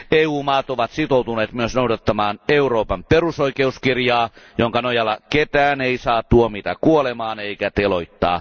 EUn jäsenvaltiot ovat sitoutuneet noudattamaan myös Euroopan perusoikeuskirjaa, jonka nojalla ketään ei saa tuomita kuolemaan eikä teloittaa.